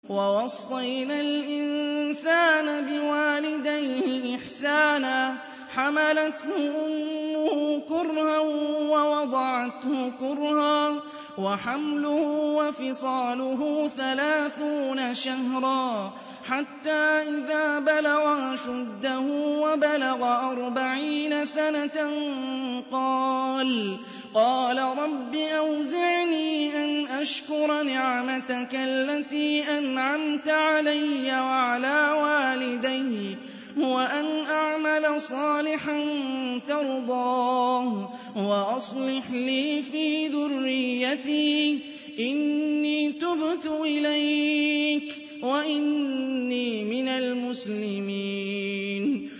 وَوَصَّيْنَا الْإِنسَانَ بِوَالِدَيْهِ إِحْسَانًا ۖ حَمَلَتْهُ أُمُّهُ كُرْهًا وَوَضَعَتْهُ كُرْهًا ۖ وَحَمْلُهُ وَفِصَالُهُ ثَلَاثُونَ شَهْرًا ۚ حَتَّىٰ إِذَا بَلَغَ أَشُدَّهُ وَبَلَغَ أَرْبَعِينَ سَنَةً قَالَ رَبِّ أَوْزِعْنِي أَنْ أَشْكُرَ نِعْمَتَكَ الَّتِي أَنْعَمْتَ عَلَيَّ وَعَلَىٰ وَالِدَيَّ وَأَنْ أَعْمَلَ صَالِحًا تَرْضَاهُ وَأَصْلِحْ لِي فِي ذُرِّيَّتِي ۖ إِنِّي تُبْتُ إِلَيْكَ وَإِنِّي مِنَ الْمُسْلِمِينَ